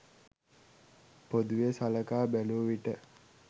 පොදුවේ සලකා බැලූ විට